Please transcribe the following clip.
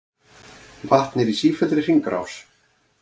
Vatn er í sífelldri hringrás.